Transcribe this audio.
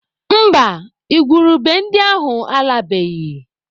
Mba, igwurube ndị ahụ alabeghị.